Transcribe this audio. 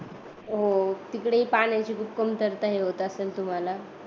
हो तिकडेही पाण्याची खूप कमतरता होत असेल मग तुम्हाला